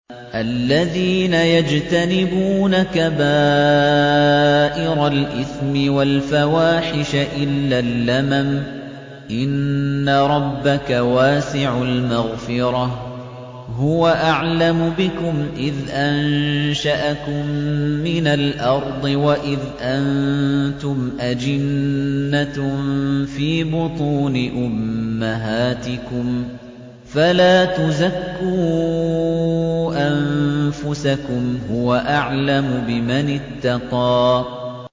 الَّذِينَ يَجْتَنِبُونَ كَبَائِرَ الْإِثْمِ وَالْفَوَاحِشَ إِلَّا اللَّمَمَ ۚ إِنَّ رَبَّكَ وَاسِعُ الْمَغْفِرَةِ ۚ هُوَ أَعْلَمُ بِكُمْ إِذْ أَنشَأَكُم مِّنَ الْأَرْضِ وَإِذْ أَنتُمْ أَجِنَّةٌ فِي بُطُونِ أُمَّهَاتِكُمْ ۖ فَلَا تُزَكُّوا أَنفُسَكُمْ ۖ هُوَ أَعْلَمُ بِمَنِ اتَّقَىٰ